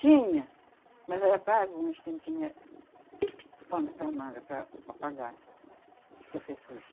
Tinha, mas era pago, mas quem tinha os panos para manga para para pagar, professores.